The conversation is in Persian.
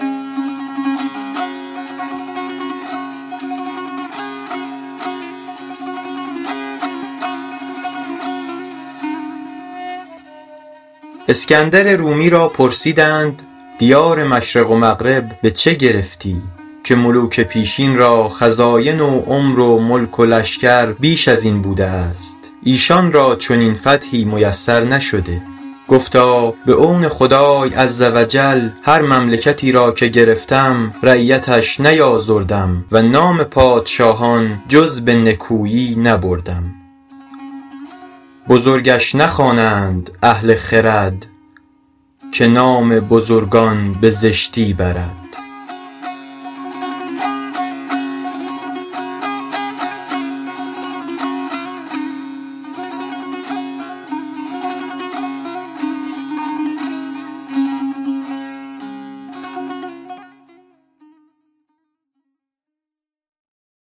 اسکندر رومی را پرسیدند دیار مشرق و مغرب به چه گرفتی که ملوک پیشین را خزاین و عمر و ملک و لشکر بیش از این بوده است ایشان را چنین فتحی میسر نشده گفتا به عون خدای عزوجل هر مملکتی را که گرفتم رعیتش نیآزردم و نام پادشاهان جز به نکویی نبردم بزرگش نخوانند اهل خرد که نام بزرگان به زشتی برد